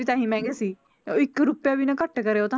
ਤਾਂ ਹੀ ਮਹਿੰਗੇ ਸੀ ਉਹ ਇੱਕ ਰੁਪਇਆ ਵੀ ਨਾ ਘੱਟ ਕਰੇ ਉਹ ਤਾਂ